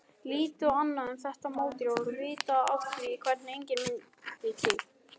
Lítið annað er um þetta mótorhjól vitað og af því er engin mynd til.